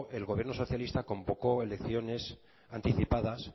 el gobierno socialista convocó elecciones anticipadas